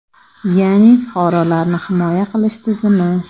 Ya’ni fuqarolarni himoya qilish tizimi.